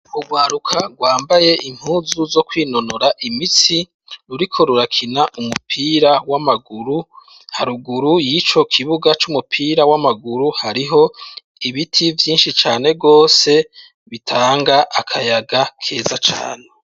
Ugwaruka rwambaye impuzu zo kwinonora imitsi ruriko rurakina umupira w'amaguru haruguru y'ico kibuga c'umupira w'amaguru hariho ibiti vyinshi cane rwose bitanga akayaga keza cane.